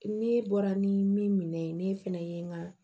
Ne bɔra ni min minɛ ne fana ye n ka